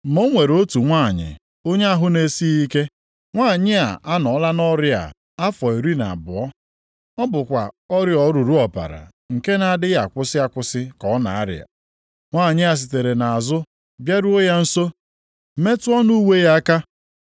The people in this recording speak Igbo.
Ma o nwere otu nwanyị onye ahụ na-esighị ike. Nwanyị a anọọla nʼọrịa a afọ iri na abụọ. Ọ bụkwa ọrịa oruru ọbara nke na-adịghị akwụsị akwụsị ka ọ na-arịa. Nwanyị a sitere nʼazụ bịaruo ya nso, metụ ọnụ uwe ya aka.